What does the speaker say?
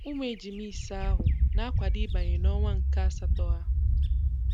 Ụmụ ejịmá ịse ahụ, na-akwado ịbanye nọnwa nke asátọ ha.